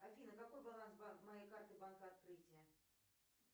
афина какой баланс моей карты банка открытие